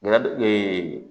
Lade